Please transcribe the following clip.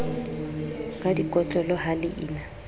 ka dikotlolo ha le ina